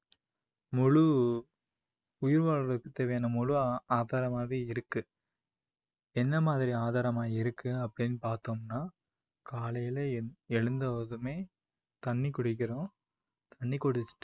முழு உயிர் வாழுறதுக்கு வந்து முழு ஆ~ ஆதாரமாவே இருக்கு என்ன மாதிரி ஆதாரமா இருக்கு அப்படின்னு பாத்தோம்னா காலையில எழூ~ எழுந்ததுமே தண்ணி குடிக்கிறோம். தண்ணி குடிச்சுட்